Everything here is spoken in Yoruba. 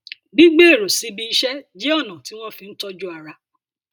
gbígbé èrò síbi iṣẹ jẹ ọnà tí wọn fi ń tọjú ara